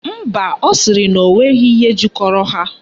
Mba, ọ sịrị na onweghi ihe jikọrọ ha